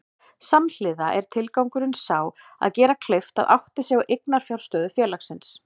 Samhliða er tilgangurinn sá að gera kleift að átta sig á eiginfjárstöðu félagsins.